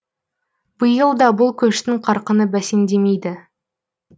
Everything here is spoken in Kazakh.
биыл да бұл көштің қарқыны бәсеңдемейді